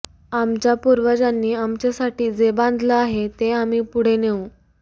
आमच्या पूर्वजांनी आमच्यासाठी जे बांधलं आहे ते आम्ही पुढे नेऊ